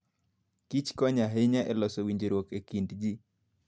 Kich konyo ahinya e loso winjruok e kind ji.